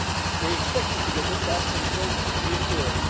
They expected to get them back when growth reappeared.